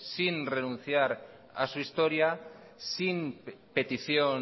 sin renunciar a su historia y sin petición